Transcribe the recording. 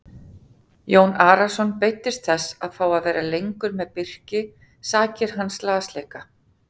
Jón Arason beiddist þess að fá að vera lengur með Birni sakir hans lasleika.